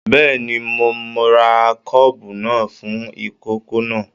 Bẹ́ẹ̀ni, mo rà kọ́ọ́bú náà fún ikòkò náà.